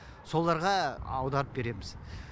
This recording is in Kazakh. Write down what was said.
соларға аударып береміз